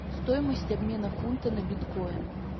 стоимость обмена фунта на биткоин